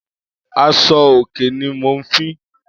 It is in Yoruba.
Áṣọ óké ni mó n fi